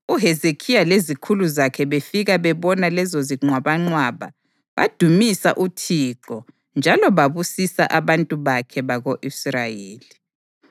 UHezekhiya lezikhulu zakhe befika bebona lezozinqwabanqwaba badumisa uThixo njalo babusisa abantu bakhe bako-Israyeli.